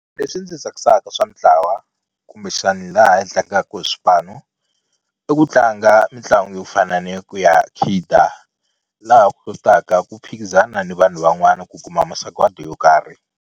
Leswi ndzi tsakisaka swa mintlawa kumbexani laha hi tlangaku hi swipanu i ku tlanga mitlangu yo fana ni ku ya khida laha u kotaka ku phikizana ni vanhu van'wana ku kuma masagwadi yo karhi.